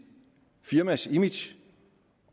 firmas image